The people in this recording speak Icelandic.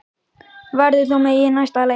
Verður þú með í næsta leik?